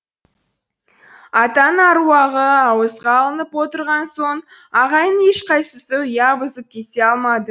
атаның аруағы ауызға алынып отырған соң ағайынның ешқайсысы ұя бұзып кете алмады